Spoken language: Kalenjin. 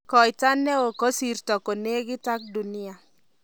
Koita ne o kosirtoi konekit ak Dunia.